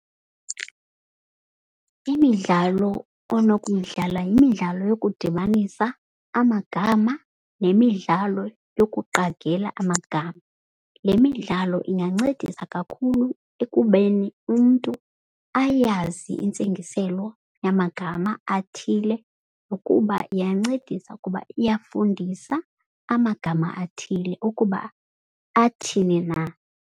Imidlalo onokuyidlala yimidlalo yokudibanisa amagama nemidlalo yokuqagela amagama. Le midlalo ingancedisa kakhulu ekubeni umntu ayazi intsingiselo yamagama athile. Nokuba iyancedisa ukuba iyafundisa amagama athile ukuba athini na.